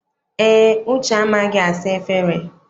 Eé, Uche amaghị asa efere.